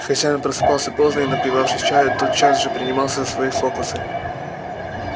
хозяин просыпался поздно и напивавшись чаю тотчас же принимался за свои фокусы